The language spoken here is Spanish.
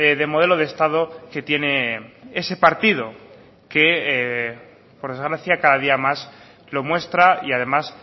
de modelo de estado que tiene ese partido que por desgracia cada día más lo muestra y además